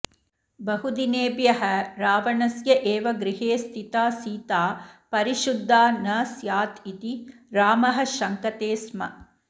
बहुदिनेभ्यः रावणस्यैव गृहे स्थिता सीता परिशुद्धा नस्यादिति रामः शङ्कते स्म